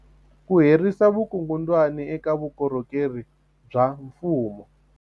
Ku herisa vukungundwani eka vukorhokeri bya mfumo